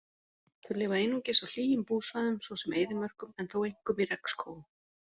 Þau lifa einungis á hlýjum búsvæðum svo sem eyðimörkum en þó einkum í regnskógum.